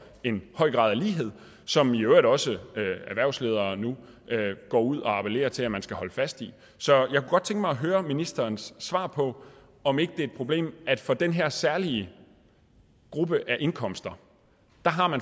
en høj grad af lighed som i øvrigt også erhvervsledere nu går ud og appellerer til man skal holde fast i så jeg kunne godt tænke mig at høre ministerens svar på om ikke det er et problem at man for den her særlige gruppe af indkomster